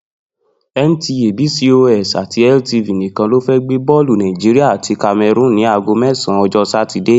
NTA, BCOS àti LTV nìkan ló fẹ́ gbé bọ́ọ̀lù Nigeria àti Cameroon ní aago mẹ́sàn-an, ọjọ́ Sátidé.